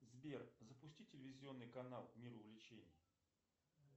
сбер запусти телевизионный канал мир увлечений